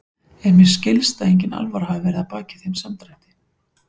En mér skilst að engin alvara hafi verið að baki þeim samdrætti.